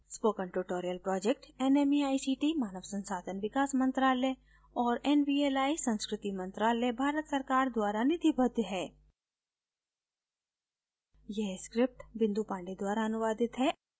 spoken tutorial project nmeict मानव संसाधन विकास मंत्रायल और nvli संस्कृति मंत्रालय भारत सरकार द्वारा निधिबद्ध है